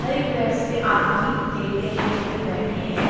हर एक बेडस पे आदमी लेटे हैं कोई बैठे हैं।